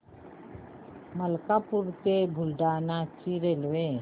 मलकापूर ते बुलढाणा ची रेल्वे